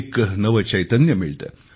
एक नवे चैतन्य मिळते